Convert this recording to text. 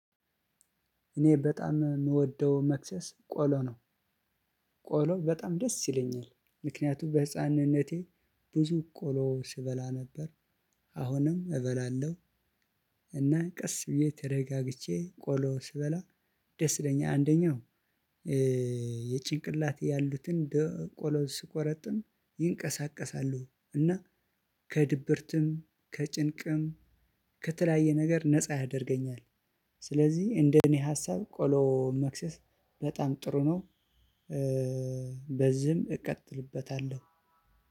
እኔ በጣም የምወደው መክሰስ ቆሎ ነው። ቆሎ በጣም ደስ ይለኛል፤ ምክንያቱም በህፃንነቴ ብዙ ቆሎ ስበላ ነበር አሁንም እበላለሁ። እና ቀስ ብዬ ተረጋግቼ ቆሎውን ስበላ ደስ ይለኛል። አንደኛው የጭንቅላቴ ያሉትን ቆሎ ስቆረጥም ይንቀሳቀሳሉ። እና ከድብርትም ከጭንቅም ከተለያየ ነገር ነፃ ያደርገኛል። ስለዚህ እንደኔ ሀሳብ ቆሎ መክሰስ በጣም ጥሩ ነው፤ በዚህም እቀጥልበታለሁ።